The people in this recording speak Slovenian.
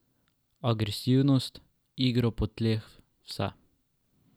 Agresivnost, igro po tleh, vse.